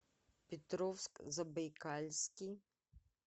петровск забайкальский